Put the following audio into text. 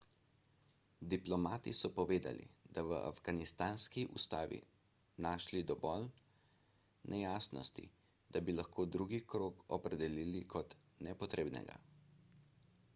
diplomati so povedali da so v afganistanski ustavi našli dovolj nejasnosti da bi lahko drugi krog opredelili kot nepotrebnega